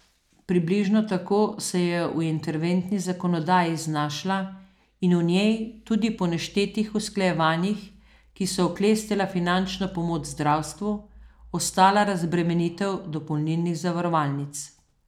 Približno tako se je v interventni zakonodaji znašla in v njej tudi po neštetih usklajevanjih, ki so oklestila finančno pomoč zdravstvu, ostala razbremenitev dopolnilnih zavarovalnic.